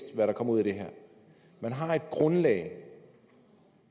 der kommer ud af det her man har et grundlag